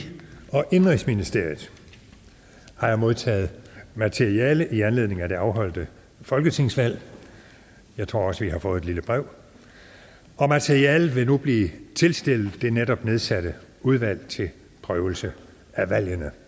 og indenrigsministeriet har jeg modtaget materiale i anledning af det afholdte folketingsvalg og jeg tror også at vi har fået et lille brev materialet vil blive tilstillet det netop nedsatte udvalg til prøvelse af valgene